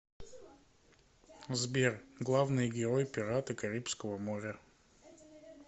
сбер главный герой пираты карибского моря